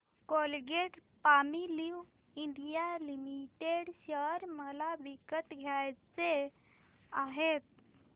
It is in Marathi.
कोलगेटपामोलिव्ह इंडिया लिमिटेड शेअर मला विकत घ्यायचे आहेत